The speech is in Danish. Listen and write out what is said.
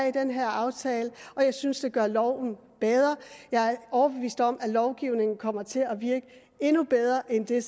i den her aftale og jeg synes det gør loven bedre jeg er overbevist om at lovgivningen kommer til virke endnu bedre end den